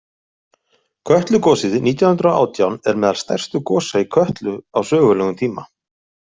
Kötlugosið nítján hundrað og átján er meðal stærstu gosa í Kötlu á sögulegum tíma.